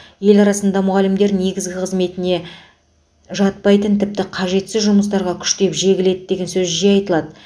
ел арасында мұғалімдер негізгі қызметіне жатпайтын тіпті қажетсіз жұмыстарға күштеп жегіледі деген сөз жиі айтылады